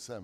Jsem.